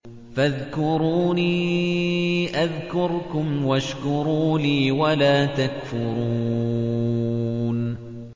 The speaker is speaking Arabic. فَاذْكُرُونِي أَذْكُرْكُمْ وَاشْكُرُوا لِي وَلَا تَكْفُرُونِ